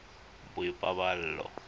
boipobolo